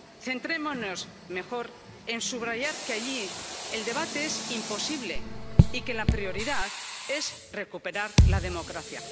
Centrémonos mejor en subrayar que allí el debate es imposible y que la prioridad es recuperar la democracia.